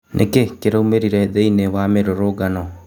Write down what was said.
Nĩ kĩ ĩ kĩ raumĩ rire thĩ iniĩ wa mĩ rũrũngano?